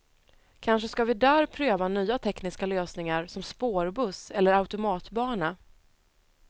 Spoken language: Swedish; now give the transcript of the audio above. Kanske ska vi där pröva nya tekniska lösningar som spårbuss eller automatbana.